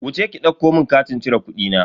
Wuce ki ɗauko mun katin cire kudina.